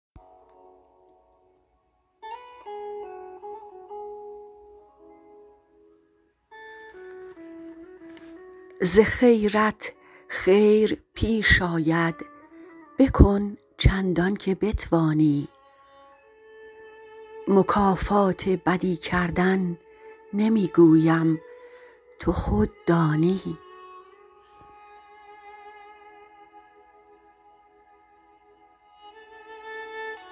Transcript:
ز خیرت خیر پیش آید بکن چندانکه بتوانی مکافات بدی کردن نمی گویم تو خود دانی